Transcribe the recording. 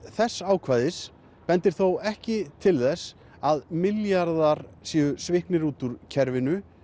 þess ákvæðis bendir þó ekki til þess að milljarðar séu sviknir út úr kerfinu